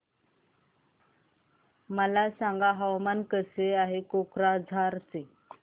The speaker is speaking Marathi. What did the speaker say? मला सांगा हवामान कसे आहे कोक्राझार चे